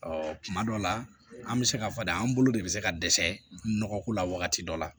Ɔ kuma dɔ la an bɛ se k'a fɔ de an bolo de bɛ se ka dɛsɛ nɔgɔko la wagati dɔ la